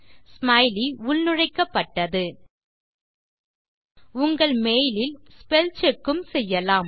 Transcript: smiley உள்நுழைக்கப்பட்டது உங்கள் mail இல் ஸ்பெல் செக் உம் செய்யலாம்